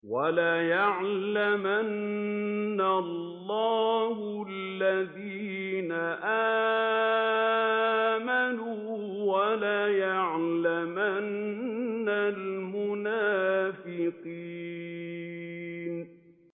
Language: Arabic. وَلَيَعْلَمَنَّ اللَّهُ الَّذِينَ آمَنُوا وَلَيَعْلَمَنَّ الْمُنَافِقِينَ